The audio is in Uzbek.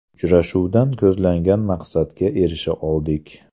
Uchrashuvdan ko‘zlangan maqsadga erisha oldik.